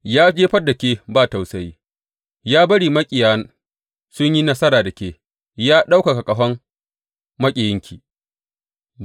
Ya jefar da ke ba tausayi, ya bari maƙiya sun yi nasara da ke, ya ɗaukaka ƙahon maƙiyanki.